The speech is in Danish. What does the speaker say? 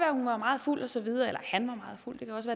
at hun var meget fuld og så videre eller han var meget fuld det kan også